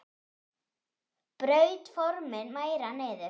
Braut formin meira niður.